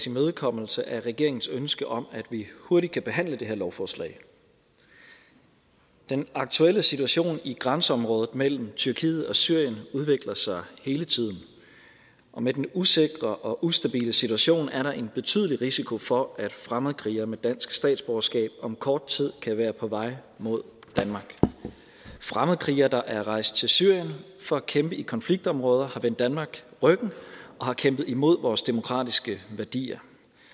imødekommelse af regeringens ønske om at vi hurtigt kan behandle det her lovforslag den aktuelle situation i grænseområdet mellem tyrkiet og syrien udvikler sig hele tiden og med den usikre og ustabile situation er der en betydelig risiko for at fremmedkrigere med dansk statsborgerskab om kort tid kan være på vej mod danmark fremmedkrigere der er rejst til syrien for at kæmpe i konfliktområder har vendt danmark ryggen og har kæmpet imod vores demokratiske værdier